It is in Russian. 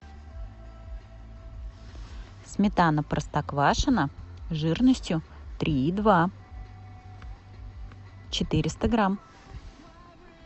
сметана простоквашино жирностью три и два четыреста грамм